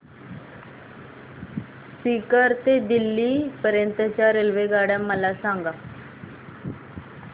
सीकर ते दिल्ली पर्यंत च्या रेल्वेगाड्या मला सांगा